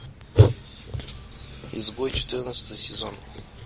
изгой четырнадцатый сезон